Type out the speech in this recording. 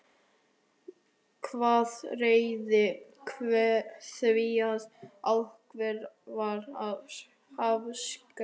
Hvað réði því að ákveðið var að afskrifa?